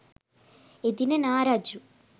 එදින නා රජු